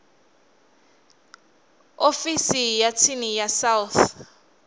ofisi ya tsini ya south